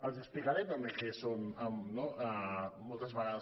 els explicaré també què són moltes vegades